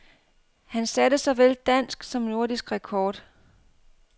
Han satte såvel dansk som nordisk rekord.